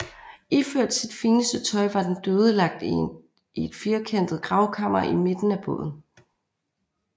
Iført sit fineste tøj var den døde lagt i et firkantet gravkammer i midten af båden